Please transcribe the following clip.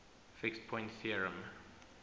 fixed point theorem